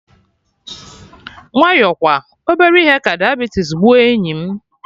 Nwayọ kwa, obere ihe ka diabetes gbuo enyi m